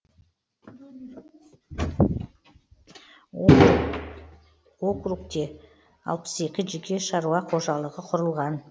окрутте алпыс екі жеке шаруа қожалығы құрылған